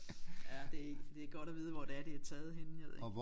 Ja det det er godt at vide hvor det er det er taget henne jeg ved ikke